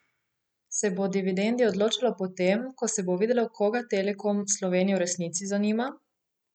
Se bo o dividendi odločalo po tem, ko se bo videlo, koga Telekom Slovenije v resnici zanima?